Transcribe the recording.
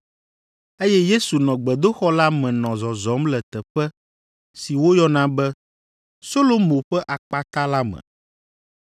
eye Yesu nɔ gbedoxɔ la me nɔ zɔzɔm le teƒe si woyɔna be Solomo ƒe Akpata la me.